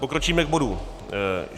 Pokročíme k bodu